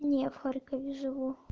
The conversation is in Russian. не в харькове живу